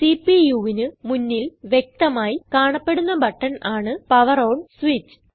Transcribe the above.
CPUവിന് മുന്നിൽ വ്യക്തമായി കാണപ്പെടുന്ന ബട്ടൺ ആണ് പവർ ഓൺ സ്വിച്ച്